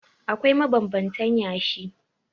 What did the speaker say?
Akwai mabanbantan yashi.